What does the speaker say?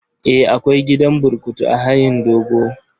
Eh, akwai gidan burkutu a hayin dogo.